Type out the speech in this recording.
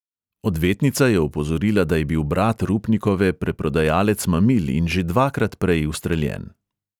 Odvetnica je opozorila, da je bil brat rupnikove preprodajalec mamil in že dvakrat prej ustreljen.